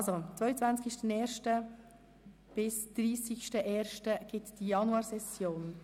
Die Januarsession dauert also vom 22. 01. bis am 30. 01. 2018.